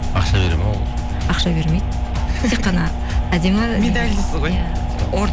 ақша береді ме ол үшін ақша бермейді тек қана әдемі медаль дейсіз ғой иә